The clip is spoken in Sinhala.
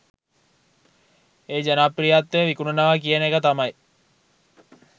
ඒ ජනප්‍රියත්වය විකුණනවා කියන එක තමයි.